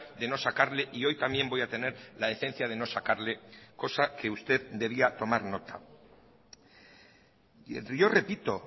de no sacarle y hoy también voy a tener la decencia de no sacarle cosa que usted debía tomar nota y yo repito